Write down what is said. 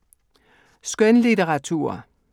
Skønlitteratur